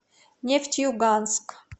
нефтеюганск